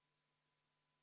Juhataja vaheaeg on läbi.